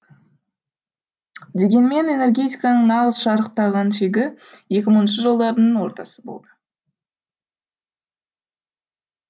дегенмен энергетиканың нағыз шарықтаған шегі екі мыңыншы жылдардың ортасы болды